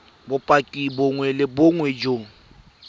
bopaki bongwe le bongwe jo